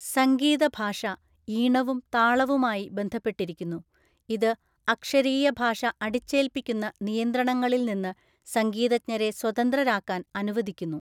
സംഗീത ഭാഷ ഈണവും താളവുമായി ബന്ധപ്പെട്ടിരിക്കുന്നു, ഇത് അക്ഷരീയ ഭാഷ അടിച്ചേൽപ്പിക്കുന്ന നിയന്ത്രണങ്ങളിൽ നിന്ന് സംഗീതജ്ഞരെ സ്വതന്ത്രരാക്കാൻ അനുവദിക്കുന്നു.